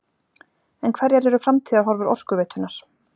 En hverjar eru framtíðarhorfur Orkuveitunnar?